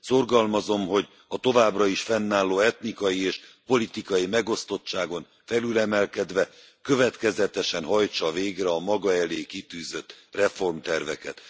Szorgalmazom, hogy a továbbra is fennálló etnikai és politikai megosztottságon felülemelkedve, következetesen hajtsa végre a maga elé kitűzött reformterveket.